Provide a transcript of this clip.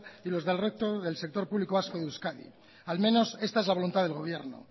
y los del resto del sector público vasco de euskadi al menos esta es la voluntad del gobierno